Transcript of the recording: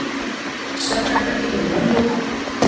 Svefnherbergi fyrir pabba og mömmu.